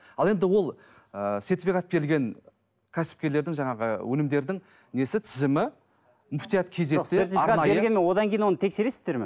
ал енді ол ыыы сертификат берілген кәсіпкерлердің жаңағы өнімдердің несі тізімі муфтият одан кейін оны тексересіздер ме